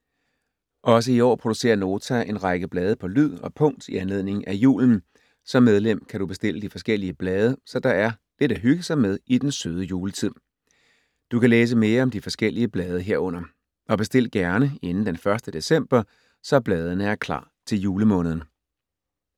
Også i år producerer Nota en række blade på lyd og punkt i anledningen af julen. Som medlem kan du bestille de forskellige blade, så der er lidt at hygge sig med i den søde juletid. Du kan læse mere om de forskellige blade herunder. Og bestil gerne inden den 1. december, så bladene er klar til julemåneden.